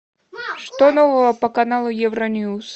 что нового по каналу евроньюс